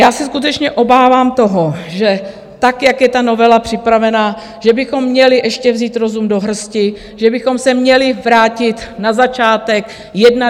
Já se skutečně obávám toho, že tak jak je ta novela připravená, že bychom měli ještě vzít rozum do hrsti, že bychom se měli vrátit na začátek, jednat.